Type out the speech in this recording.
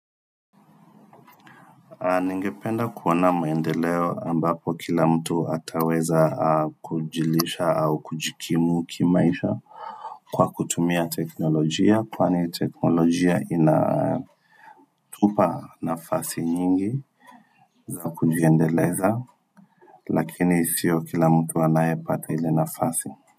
Ningependa kuona maendeleo ambapo kila mtu ataweza kujilisha au kujikimu kimaisha Kwa kutumia teknolojia kwani teknolojia inatupa nafasi nyingi za kujiendeleza Lakini sio kila mtu anaye pata ile nafasi.